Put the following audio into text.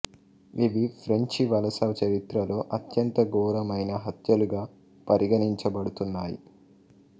ఇవి ఫ్రెంచి వలస చరిత్రలో అత్యంత ఘోరమైన హత్యలుగా పరిగణించబడుతున్నాయి